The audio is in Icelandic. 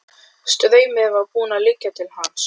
Straumurinn var búinn að liggja til hans.